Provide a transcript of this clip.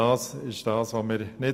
Das wollen wir nicht.